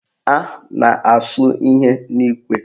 A na-asụ ihe n'ikwe